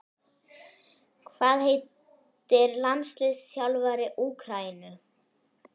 Hvað heitir landsliðsþjálfari Úkraínu?